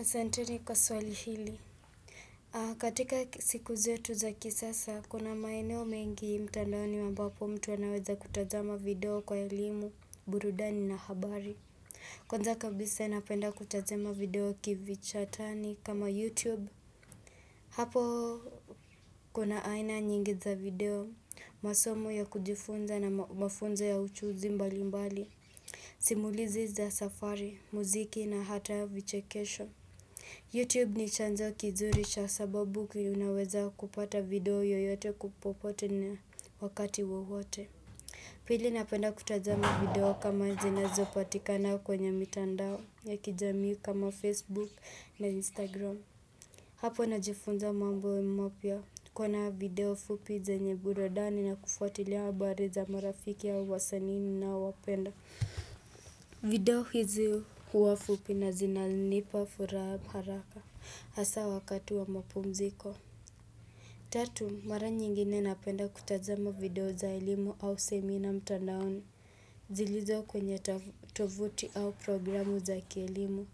Asanteni kwa swali hili. Katika siku zetu za kisasa, kuna maeneo mengi mtandaoni ambapo mtu anaweza kutazama video kwa elimu, burudani na habari. Kwanza kabisa napenda kutazama video kivichatani kama YouTube. Hapo kuna aina nyingi za video, masomo ya kujifunza na mafunzo ya uchuuzi mbali mbali. Simulizi za safari, muziki na hata ya vichekesho. Youtube ni chanzo kizuri cha sababu kunaweza kupata video yoyote popote na wakati wawote Pili napenda kutazama video kama zinazopatikana kwenye mitandao ya kijamii kama Facebook na Instagram Hapo najifunza mambo mapya kuana video fupi zenye burudani na kufuatilia habari za marafiki au wasani ninaowapenda video hizi huwa fupi na zinanipa furaha haraka Hasa wakati wa mapumziko. Tatu, mara nyingine napenda kutazama video za elimu au seminar mtandaoni. Zilizo kwenye tovuti au programu za kielimu.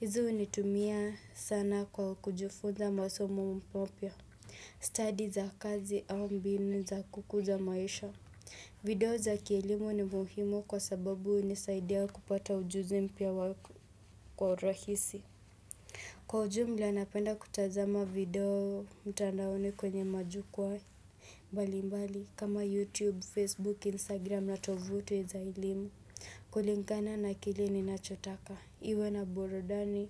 Hizi hunitumia sana kwa kujifunza masomo mapya. Study za kazi au mbinu za kukuza maisha. Video za kielimu ni muhimu kwa sababu hunisaidia kupata ujuzi mpya kwa urahisi. Kwa ujumla napenda kutazama video mtandaoni kwenye majukwa mbali mbali kama YouTube, Facebook, Instagram na tovuti za elimu. Kulingana na kile ninachotaka. Iwe na burudani,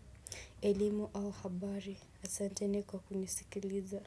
elimu au habari. Asante ni kwa kunisikiliza.